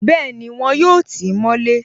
Bẹ́ẹ̀ni, wọn yóò tí mọ́ lé